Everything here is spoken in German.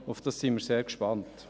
Darauf sind wir sehr gespannt.